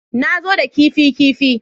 Na zo da kifi kifi